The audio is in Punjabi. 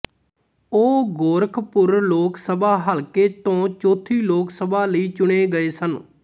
ਉਹ ਗੋਰਖਪੁਰ ਲੋਕਸਭਾ ਹਲਕੇ ਤੋਂ ਚੌਥੀ ਲੋਕਸਭਾ ਲਈ ਚੁਣੇ ਗਏ ਸਨ